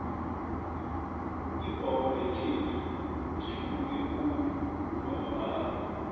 ibholo yekhethu itjhuguluke khulu kwamambala